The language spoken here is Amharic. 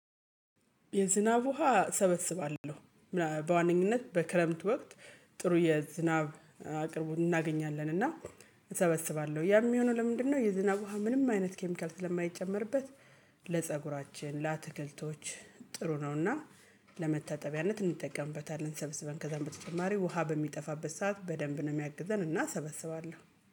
የዝናብ ውሃ ሰበስባለሁ። በዋነኝነት በክረምት ወቅት። ጥሩ የዝናብ አቅርቦን እናገኛለን እና እሰበስባለሁ ያም የሚሆነው ለምንድነው የዝናብ ውሃ ምንም አይነት ኬሚካል ስለማይጨመርበት? ለፀጉራችን ለአትክልቶች ጥሩ ነውና። ለመታጠቢያነት እንጠቀምበታለን ሰብስበን ከዛም በተጨማሪ ውሃ በሚጠፋበት ሰዓት በደንብ ነው የሚያግዘን እና ሰበስባለሁ